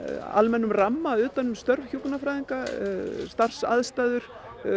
almennum ramma utan um störf hjúkrunarfræðinga starfsaðstæður